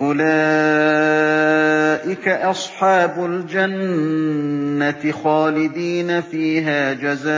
أُولَٰئِكَ أَصْحَابُ الْجَنَّةِ خَالِدِينَ فِيهَا جَزَاءً